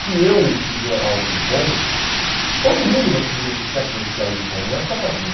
se eu fizer algo bom todo mundo vai se beneficiar com esse algo bom, não é só para mim.